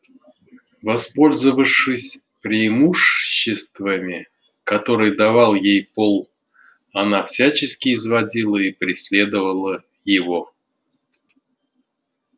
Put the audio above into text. воспользовавшись преимуществами которые давал ей пол она всячески изводила и преследовала его